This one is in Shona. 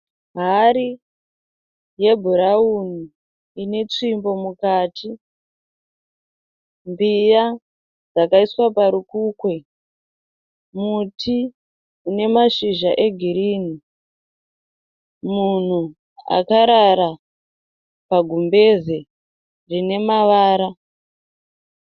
Hari yebhurauni inetsvimbo mukati, mbiya dzakaiswa parukukwe, muti unemashizha egirini, munhu akarara pagumbezi rinemavara.